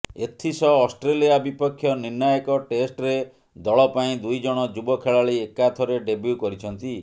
ଏଥିସହ ଅଷ୍ଟ୍ରେଲିଆ ବିପକ୍ଷ ନିର୍ଣ୍ଣାୟକ ଟେଷ୍ଟରେ ଦଳ ପାଇଁ ଦୁଇ ଜଣ ଯୁବ ଖେଳାଳି ଏକାଥରେ ଡେବ୍ୟୁ କରିଛନ୍ତି